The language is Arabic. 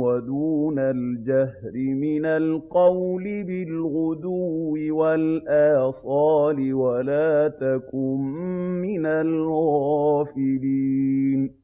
وَدُونَ الْجَهْرِ مِنَ الْقَوْلِ بِالْغُدُوِّ وَالْآصَالِ وَلَا تَكُن مِّنَ الْغَافِلِينَ